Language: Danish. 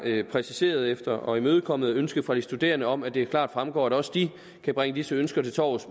præciseret og imødekommet ønsket fra de studerende om at det klart fremgår at også de kan bringe disse ønsker til torvs